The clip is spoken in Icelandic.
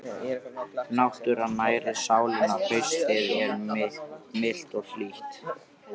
Náttúran nærir sálina Haustið er milt og hlýtt.